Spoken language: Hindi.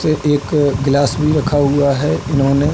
से एक ग्लास भी रखा हुआ हैं इन्होने।